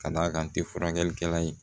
Ka d'a kan n tɛ furakɛlikɛla ye